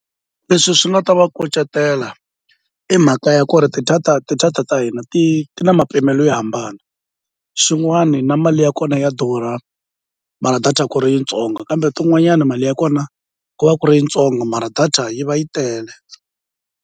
Leswi swi nga ta va kucetela i mhaka ya ku ri ti-data ti-data ta hina ti ti na mapimelo yo hambana xin'wani na mali ya kona ya durha mara data ku ri yintsongo kambe tin'wanyana mali ya kona ku va ku ri yi ntsongo mara data yi va yi tele.